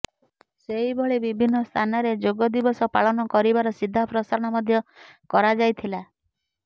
ସେହିଭଳି ବିଭିନ୍ନ ସ୍ଥାନରେ ଯୋଗ ଦିବସ ପାଳନ କରିବାର ସିଧା ପ୍ରସାରଣ ମଧ୍ୟ କରାଯାଇଥିଲା